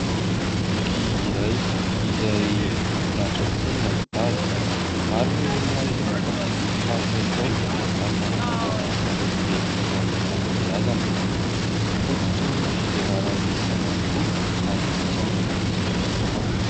Boky iray izay mahafinaritra tokoa ny mahita azy. Maro ny olona izay mankafỳ boky tahaka izao ary manana anjara asa lehibe eo amin'ny fanabeazana. Fototry ny fivelaran'ny saina tokoa ary isan'ny ankafizin'ny olona maro.